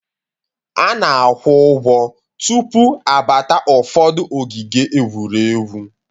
A na-akwụ ụgwọ tụpụ abata ụfọdụ ogige egwuregwu